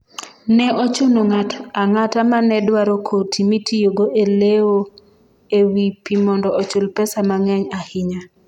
ne ochuno ng'at ang'ata mane dwaro koti mitiyogo e lewo e wi pi mondo ochul pesa mang'eny ahinya